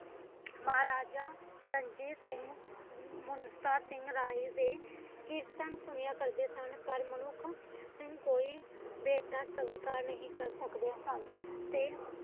ਮਹਾਂ ਰਾਜਾ ਰਣਜੀਤ ਸਿੰਘ ਮੁਮਤ ਸਿੰਘ ਰਾਏ ਦੇ ਕੀਰਤਨ ਸੁਣਿਆਂ ਕਰਦੇ ਸਨ ਪਰ ਮਨੁੱਖ ਕੋਈ ਭੈਟਾ ਸਵਿਕਾਰ ਨਹੀਂ ਕਰ ਸਕਦੇ ਸਨ ਤੇ